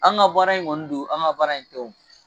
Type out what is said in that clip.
An ka baara in kɔni don an ka baara in tɛ wo.